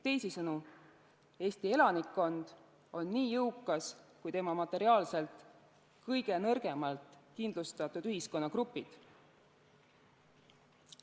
Teisisõnu, Eesti elanikkond on nii jõukas kui materiaalselt kõige nõrgemalt kindlustatud ühiskonnagrupid.